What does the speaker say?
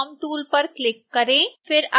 अब transform tool पर click करें